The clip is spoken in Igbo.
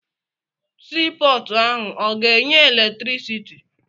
Sii pọọtụ ahụ ọ ga-enye eletirisiti.